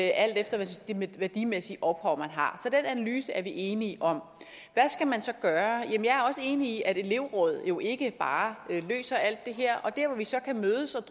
alt efter det værdimæssige ophav man har så den analyse er vi enige om hvad skal man så gøre jeg er også enig i at elevråd jo ikke bare løser alt det her og det vi så kan mødes om